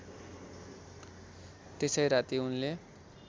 त्यसै राति उनले